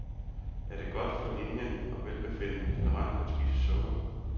Er det godt for linien og velbefindendet generelt at spise sukker?